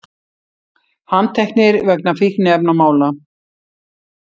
Handteknir vegna fíkniefnamála